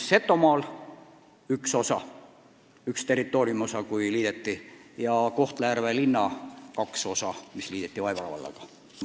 Setumaal liideti üks territooriumiosa ja Kohtla-Järve linna kaks osa liideti Vaivara vallaga.